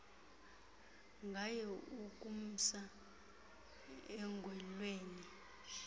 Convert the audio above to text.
ngaye ukumsa enqwelweni